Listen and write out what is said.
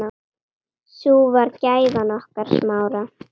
Sú var gæfan okkar Smára.